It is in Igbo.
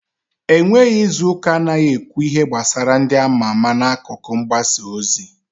E nweghi izuuka anaghị ekwu ihe gbasara ndị ama ama n'akụkọ mgbasa ozi.